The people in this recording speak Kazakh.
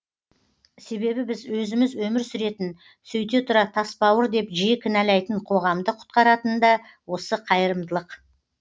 себебі біз өзіміз өмір сүретін сөйте тұра тасбауыр деп жиі кінәлайтын қоғамды құтқаратын да осы қайырымдылық